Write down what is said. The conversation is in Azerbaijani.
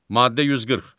Maddə 140.